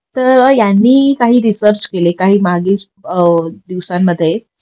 तर यांनी काही रेसेरच केले काही मागे दिवसांमध्ये